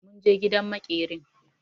Mun je gidan maƙerin.